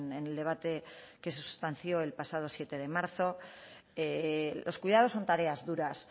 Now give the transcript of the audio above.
en el debate que se sustanció el pasado siete de marzo los cuidados son tareas duras